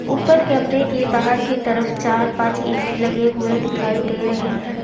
ऊपर कैमरे के बाहर की तरफ चार पांच ए_सी लगे हुए दिखाई दे रहे हैं।